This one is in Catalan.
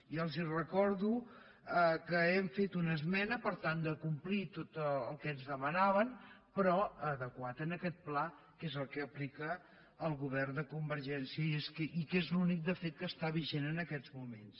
i els recordo que hem fet una esmena per tal de complir tot el que ens demana·ven però adequat a aquest pla que és el que aplica el govern de convergència i que és l’únic de fet que es·tà vigent en aquests moments